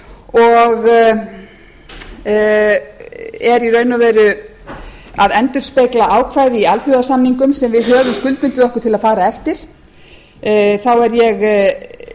og er í raun og veru að endurspegla ákvæði í alþjóðasamningum sem við höfum skuldbundið okkur til að fara eftir þá er ég